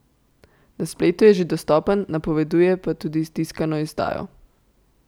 Na spletu je že dostopen, napoveduje pa tudi tiskano izdajo.